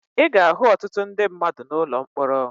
Ị ga-ahụ ọtụtụ ndị mmadụ n'ụlọ mkpọrọ